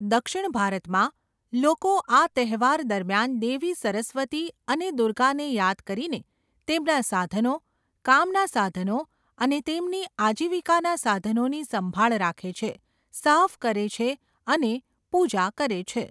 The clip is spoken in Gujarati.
દક્ષિણ ભારતમાં, લોકો આ તહેવાર દરમિયાન દેવી સરસ્વતી અને દુર્ગાને યાદ કરીને તેમના સાધનો, કામના સાધનો અને તેમની આજીવિકાના સાધનોની સંભાળ રાખે છે, સાફ કરે છે અને પૂજા કરે છે.